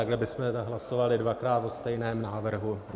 Takhle bychom hlasovali dvakrát o stejném návrhu.